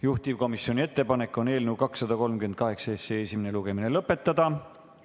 Juhtivkomisjoni ettepanek on eelnõu 238 esimene lugemine lõpetada.